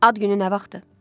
Ad günü nə vaxtdır?